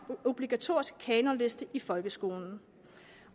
obligatoriske kanonliste i folkeskolen